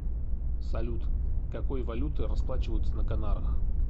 салют какой валютой расплачиваются на канарах